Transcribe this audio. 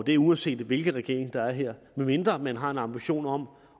det uanset hvilken regering der er her medmindre man har en ambition om